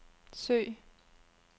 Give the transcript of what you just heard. søg